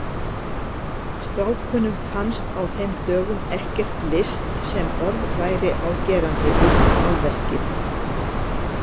Strákunum fannst á þeim dögum ekkert list sem orð væri á gerandi utan málverkið.